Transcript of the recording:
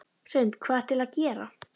Hrund: Hvað ertu eiginlega að gera?